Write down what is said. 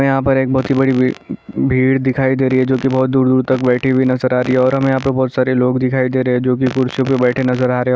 यहाँ पर एक बहोत बड़ी भीड़ दिखाई दे रही है जो कि बहोत दूर-दूर तक बैठी हुई नज़र आ रही है और हमें यहाँ पे बहोत सारे लोग दिखाई दे रहे है यहाँ पर बहोत सारे लोग दिखाई दे रहे है जो कि कुर्सी में बैठे नज़र आ रहे--